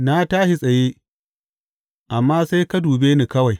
Na tashi tsaye, amma sai ka dube ni kawai.